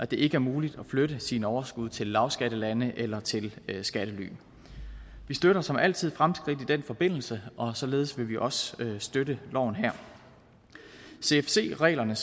det ikke er muligt at flytte sine overskud til lavskattelande eller til skattely vi støtter som altid fremskridt i den forbindelse og således vil vi også støtte loven her cfc reglerne